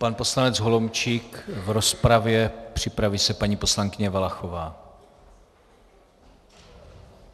Pan poslanec Holomčík v rozpravě, připraví se paní poslankyně Valachová.